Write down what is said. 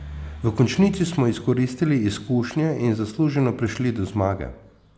V končnici smo izkoristili izkušnje in zasluženo prišli do zmage.